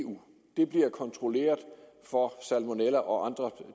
eu det bliver kontrolleret for salmonella og andre